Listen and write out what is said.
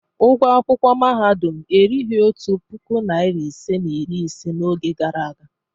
Ụgwọ akwụkwọ mahadum erughị otu puku naịra isii na iri ise n'oge gara aga.